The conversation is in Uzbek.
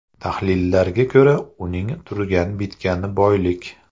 Tahlillarga ko‘ra, uning turgan-bitgani boylik.